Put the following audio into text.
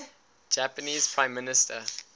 japanese prime minister